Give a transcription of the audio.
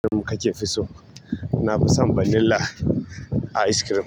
Kake fi so? Na fi son vanilla ice cream.